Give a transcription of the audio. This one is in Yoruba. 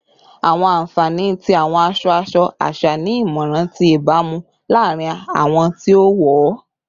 Awọn anfani ti awọn aṣọ-aṣọ aṣa ni imọran ti ibaramu laarin awọn ti o wọ